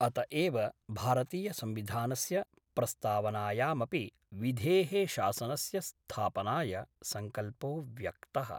अत एव भारतीयसंविधानस्य प्रस्तावनायामपि विधे: शासनस्य स्थापनाय संकल्पो व्यक्तः।